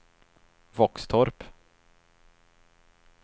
Våxtorp